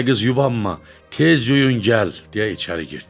Ay qız yubanma, tez yüyün gəl deyə içəri girdi.